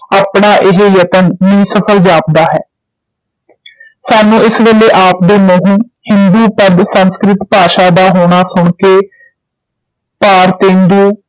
ਆਪਣਾ ਏਹ ਯਤਨ ਨਿਸਫਲ ਜਾਪਦਾ ਹੈ ਸਾਨੂੰ ਇਸ ਵੇਲੇ ਆਪ ਦੇ ਮੂੰਹੋਂ ਹਿੰਦੂ ਪਦ ਸੰਸਕ੍ਰਿਤ ਭਾਸ਼ਾ ਦਾ ਹੋਣਾ ਸੁਣ ਕੇ ਭਾਰਤੇਂਦੂ